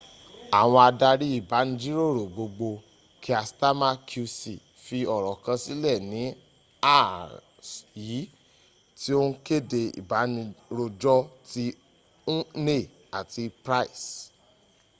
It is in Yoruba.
àwọn adarí ìbánirojó gbogbgbò kier stammer qc fi ọ̀rọ̀ kan sílẹ̀ ní àárs yìí tí ó ń kéde ìbánirojọ́ ti huhne àti pryce